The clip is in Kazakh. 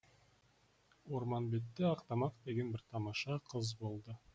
ормамбетте ақтамақ деген бір тамаша қыз болды